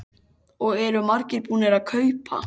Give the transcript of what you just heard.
Og eru margir búnir að kaupa?